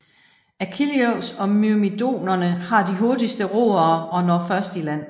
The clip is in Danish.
Achilleus og myrmidonerne har de hurtigste roere og når først i land